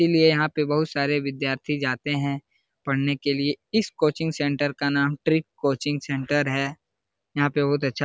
इसलिए यहाँ पे बहुत सारे विद्यार्थी जाते हैं पढ़ने के लिए | इस कोचिंग सेंटर का नाम ट्रिक कोचिंग सेंटर है | यहाँ पर बहुत अच्छा --